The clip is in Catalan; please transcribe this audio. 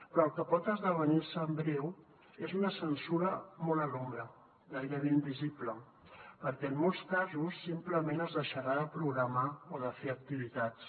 però el que pot esdevenir se en breu és una censura molt a l’ombra gairebé invisible perquè en molts casos simplement es deixarà de programar o de fer activitats